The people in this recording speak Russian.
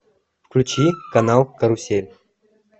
включи канал карусель